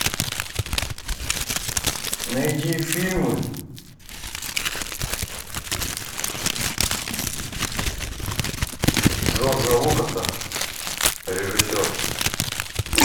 найди фильмы джорджа лукаса режиссер